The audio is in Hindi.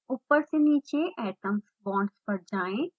ऊपर से नीचे atoms/bonds पर जाएँ